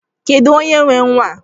Kedụ onye nwe nwaa?